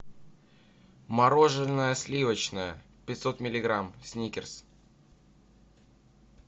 мороженое сливочное пятьсот миллиграмм сникерс